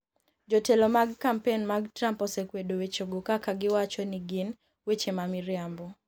Jotelo mag kampen mag Trump osekwedo wechego kaka giwacho ni gin "weche ma miriambo".